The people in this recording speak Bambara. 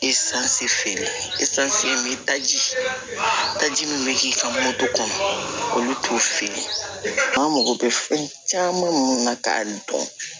Esansi feere daji taji min bɛ k'i ka moto kɔnɔ olu t'o feere an mago bɛ fɛn caman minnu na ka nin dɔn